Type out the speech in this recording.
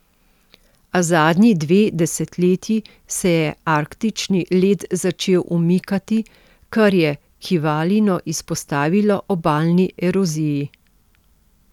A zadnji dve desetletji se je arktični led začel umikati, kar je Kivalino izpostavilo obalni eroziji.